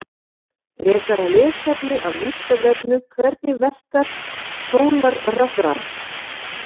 Frekara lesefni af Vísindavefnum: Hvernig verkar sólarrafhlaða?